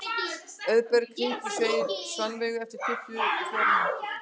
Auðberg, hringdu í Sveinveigu eftir tuttugu og fjórar mínútur.